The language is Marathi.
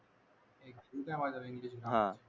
माझ्यावर इंग्लिश